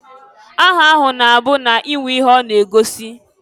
Aha ha na-abụ na-enwe ihe ọ na-egosi.